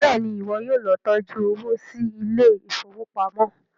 béèni iwọ yóò ló tọjú owo sí Ilé ìfowópamọ́.